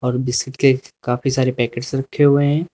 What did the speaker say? और बिस्किट के काफी सारे पैकेट्स रखे हुए हैं।